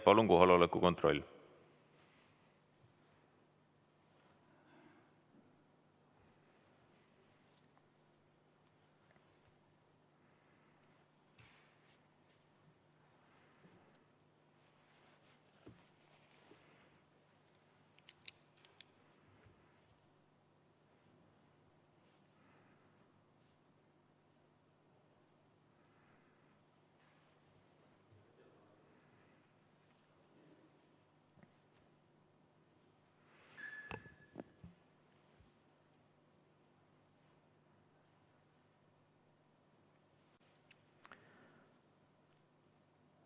Palun kohaloleku kontroll!